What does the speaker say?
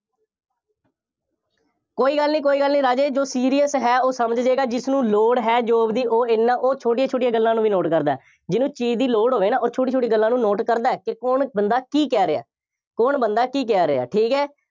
ਕੋਈ ਗੱਲ ਨਹੀਂ, ਕੋਈ ਗੱਲ ਨਹੀਂ, ਰਾਜੇ, ਜੋ serious ਹੈ ਉਹ ਸਮਝ ਜਾਏਗਾ, ਜਿਸਨੂੰ ਲੋੜ ਹੈ job ਦੀ ਉਹ ਐਨਾ, ਉਹ ਛੋਟੀਆਂ ਛੋਟੀਆਂ ਗੱਲਾਂ ਨੂੰ ਵੀ note ਕਰਦਾ, ਜਿਹਨੂੰ ਚੀਜ਼ ਦੀ ਲੋੜ ਹੋਵੇ ਨਾ, ਉਹ ਛੋਟੀ ਛੋਟੀ ਗੱਲਾਂ ਨੂੰ note ਕਰਦਾ ਹੈ ਕਿ ਕੌਣ ਬੰਦਾ ਕੀ ਕਹਿ ਰਿਹਾ, ਕੌਣ ਬੰਦਾ ਕੀ ਕਹਿ ਰਿਹਾ, ਠੀਕ ਹੈ।